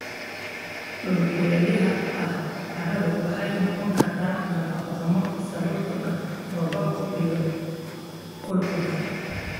Dhulka kulaylaha ah, carradu waxay noqon kartaa nafaqo-xumo sababtoo ah roobabka iyo qulqulka.